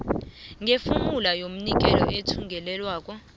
ngefomula yomnikeli wethungelelwano